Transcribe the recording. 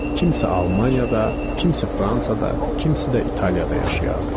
Kimsə Almaniyada, kimsə Fransada, kimsə də İtaliyada yaşayardı.